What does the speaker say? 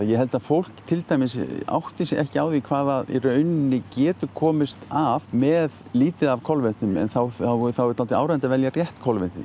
ég held að fólk til dæmis átti sig ekki á því hvað það í rauninni getur komist af með lítið af kolvetnum en þá er dálítið áríðandi að velja rétt kolvetni